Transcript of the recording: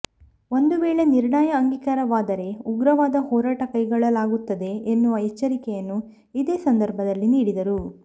ಒಂದು ವೇಳೆ ನಿರ್ಣಯ ಅಂಗೀಕಾರವಾದರೇ ಉಗ್ರವಾದ ಹೋರಾಟ ಕೈಗೊಳ್ಳಲಾಗುತ್ತದೆ ಎನ್ನುವ ಎಚ್ಚರಿಕೆಯನ್ನು ಇದೇ ಸಂದರ್ಭದಲ್ಲಿ ನೀಡಿದರು